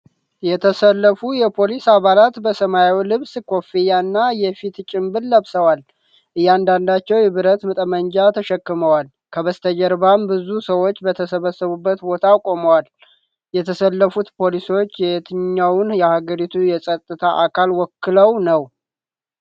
የተሰለፉ የፖሊስ አባላት በሰማያዊ ልብስ፣ ኮፍያ እና የፊት ጭንብል ለብሰዋል። እያንዳንዳቸው የብረት ጠመንጃ ተሸክመዋል፣ ከበስተጀርባም ብዙ ሰዎች በተሰበሰቡበት ቦታ ቆመዋል። የተሰለፉት ፖሊሶች የየትኛውን የሀገሪቱን የጸጥታ አካል ወክለው ነው?